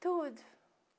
Tudo.